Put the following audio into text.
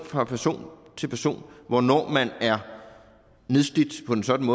fra person til person hvornår man er nedslidt på en sådan